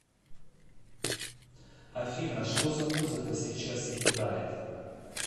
афина что за музыка сейчас играет